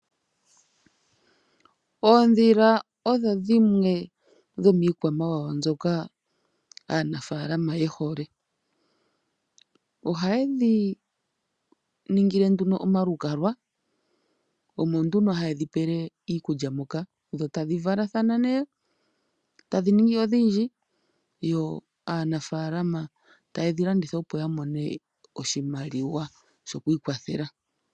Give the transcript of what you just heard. Oodhila odho dhimwe dhomiikwamawawa mbyoka aanafaalama yehole. Ohaye dhi ningile nduno omalukalwa, omo nduno haye dhi pele iikulya moka, dho tashi valathana nee, e tadhi ningi odhindji, yo aanafaalama taye dhi landitha po nee opo yamone oshimaliwa shokwiikwathela.